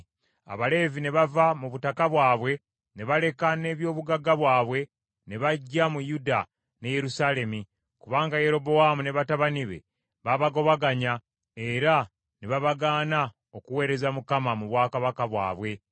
Abaleevi ne bava mu butaka bwabwe ne baleka n’eby’obugagga bwabwe ne bajja mu Yuda ne Yerusaalemi, kubanga Yerobowaamu ne batabani be babagobaganya era ne babagaana okuweereza Mukama mu bwakabaka bwabwe,